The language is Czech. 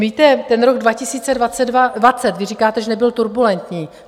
Víte, ten rok 2020, vy říkáte, že nebyl turbulentní.